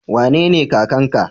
Wanene kakan ka?